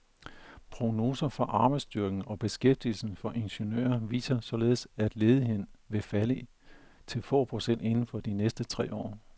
Prognoser for arbejdsstyrken og beskæftigelsen for ingeniører viser således, at ledigheden vil falde til få procent inden for de næste tre år.